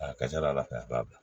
A ka ca ala fɛ a b'a bila